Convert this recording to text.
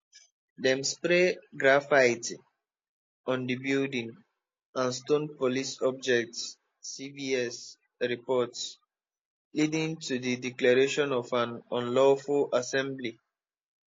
dem spray graffiti on di building and stone police objects cbs reports leading to di declaration of an unlawful assembly